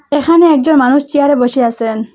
এখানে একজন মানুষ চেয়ারে বসে আসেন।